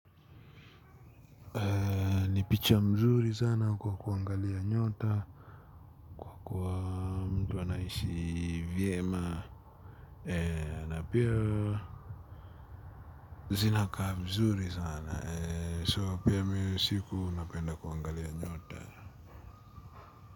Ni picha mzuri sana kwa kuangalia nyota. Unaishi vyema na pia zinakaa vizuri sana so mimi usiku napenda kuangalia nyota.